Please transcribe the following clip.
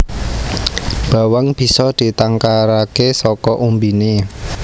Bawang bisa ditangkaraké saka umbiné